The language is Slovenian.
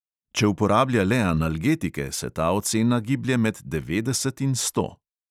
Če uporablja le analgetike, se ta ocena giblje med devetdeset in sto!